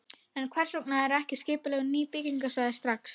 En hvers vegna eru ekki skipulögð ný byggingarsvæði strax?